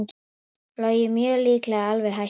Logi mjög líklega alveg hættur